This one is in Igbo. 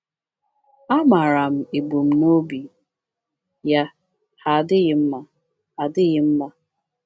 Amaara m ebumnobi ya, ha adịghị mma. adịghị mma.